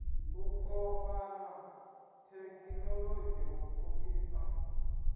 u kovhana thekhinolodzhi u pfukisa